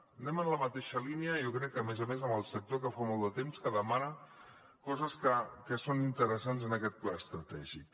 anem en la mateixa línia i jo crec que a més a més amb el sector que fa molt de temps que demana coses que són interessants en aquest pla estratègic